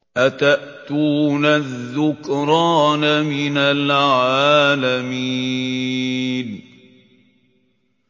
أَتَأْتُونَ الذُّكْرَانَ مِنَ الْعَالَمِينَ